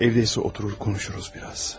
Evdədirsə, oturub biraz danışarıq.